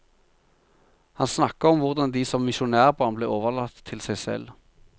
Han snakker om hvordan de som misjonærbarn ble overlatt til seg selv.